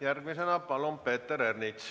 Järgmisena palun, Peeter Ernits.